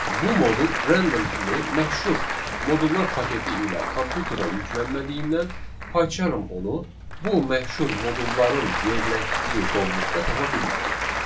Bu modul random kimi məşhur modullar paketi ilə kompüterə yüklənmədiyindən Paycharm onu bu məşhur modulların yerləşdiyi qovluqda tapa bilmədi.